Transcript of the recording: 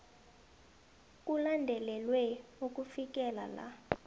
kulandelelwe ukufikela la